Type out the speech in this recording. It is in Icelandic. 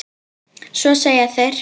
Svo segja þeir.